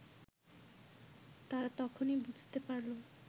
তারা তখনই বুঝতে পারল